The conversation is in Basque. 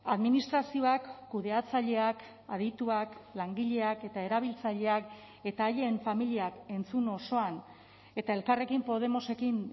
administrazioak kudeatzaileak adituak langileak eta erabiltzaileak eta haien familiak entzun osoan eta elkarrekin podemosekin